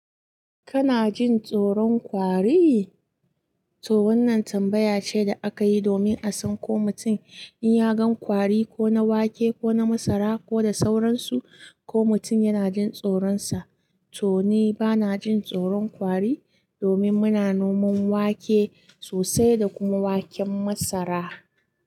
Kana jin tsoron kwari? To wannan tambaya ce da aka yi domin a san ko mutum in ya gan ƙwari ko na wake ko na masara ko da sauransu, ko mutum yana jin tsoronsa. To ni bana jin tsoron ƙwari domin muna noman wake sosai da kuma waken masara.